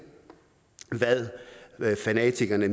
hvad fanatikerne